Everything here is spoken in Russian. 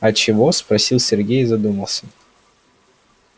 а чего спросил сергей и задумался